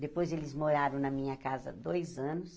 Depois, eles moraram na minha casa dois anos.